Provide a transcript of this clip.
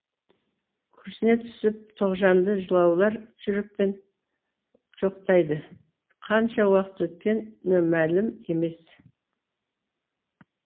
күрсіне түсіп тоғжанды жылаулар жүрекпен жоқтайды қанша уақыт өткені мәлім емес